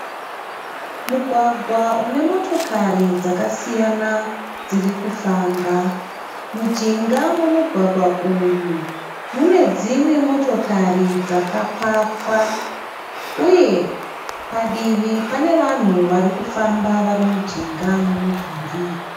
Mugwagwa une motokari dzakasiyana dzirikufamba . Mujinga memugwagwa uyu mune dzimwe motokari dzakapakwa. Uye padivi pane vanhu varikufamba vari mujinga memudhuri